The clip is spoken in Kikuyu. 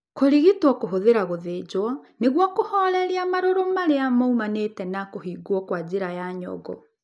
Kũrigitwo kũhũthĩra gũthĩnjwo nĩguo kũhoreria marũrũ arĩa moimanĩte na kũhingwo kwa njĩra ya nyongo.